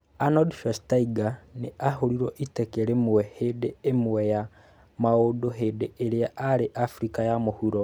Arnold Schwarzenegger nĩ aahũrirũo teke imwe hĩndĩ ĩmwe ya maũndũ hĩndĩ ĩrĩa aarĩ Abirika ya Mũhuro